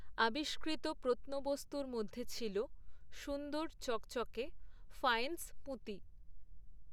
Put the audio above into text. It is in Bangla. আবিষ্কৃত প্রত্নবস্তুর মধ্যে ছিল সুন্দর চকচকে ফ্যায়েন্স পুঁতি।